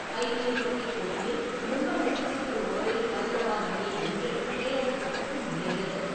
ஐ P L cricket போட்டியில் மும்பை அணி super ஓவரில் ஐதராபாத் அணியை வென்று ப்ளே ஆஃப் சுற்றுக்கு முன்னேறியது.